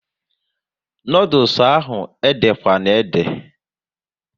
Noodules ahụ ede kwana ede!